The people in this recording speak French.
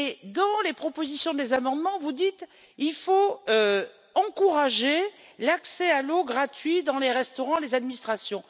Dans les propositions d'amendement, vous dites il faut encourager l'accès à l'eau gratuit dans les restaurants et dans les administrations.